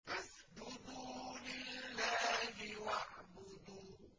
فَاسْجُدُوا لِلَّهِ وَاعْبُدُوا ۩